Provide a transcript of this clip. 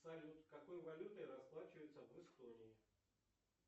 салют какой валютой расплачиваются в эстонии